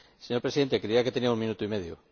Señor Presidente, creía que tenía un minuto y medio.